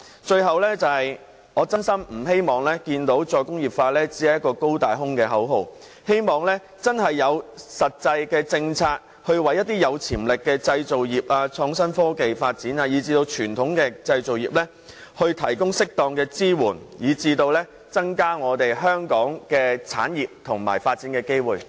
最後，我衷心希望"再工業化"不會淪為一個"高大空"的口號，希望當局推出實際的政策，為有潛力的製造業、創新科技發展及傳統製造業提供適當的支援，從而增加本港產業的發展機會。